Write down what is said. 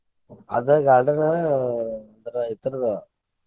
ಅದ್ garden .